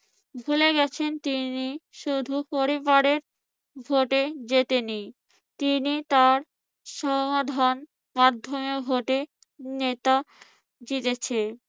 ভুলে গেছেন তিনি, শুধু পরিবারের ভোটে জিতেনি। তিনি তার সমাধান মাধ্যমে ভোটে নেতা জিতেছে